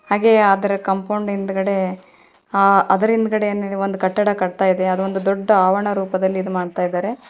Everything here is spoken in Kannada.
ಹಾಗೆಯೆ ಆದರ ಕಾಂಪೌಂಡ್ ಹಿಂದುಗಡೆನೆ ಒಂದು ಕಟ್ಟಡ ಕಟ್ತ ಇದೆ ಅದೊಂದು ದೊಡ್ಡ ಆವರಣ ರೂಪದಲ್ಲಿ ಇದು ಮಾಡ್ತಾ ಇದ್ದಾರೆ.